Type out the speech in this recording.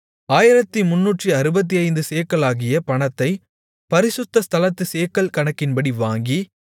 1365 சேக்கலாகிய பணத்தை பரிசுத்த ஸ்தலத்துச் சேக்கல் கணக்கின்படி வாங்கி